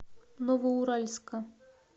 новоуральска